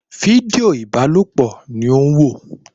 Fídíò ìbálòpọ̀ ni ó ń wò